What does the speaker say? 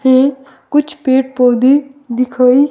है कुछ पेड़-पौधे दिखाए --